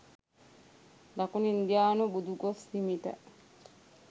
දකුණු ඉන්දියානු බුදුගොස් හිමිට